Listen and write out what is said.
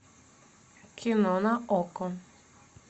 кино на окко